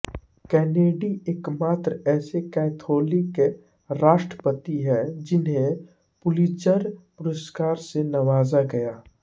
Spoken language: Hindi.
केनेडी एकमात्र ऐसे कैथोलिक राष्ट्रपति है जिन्हे पुलित्ज़र पुरस्कार से नवाज़ा गया है